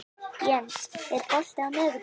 Jens, er bolti á miðvikudaginn?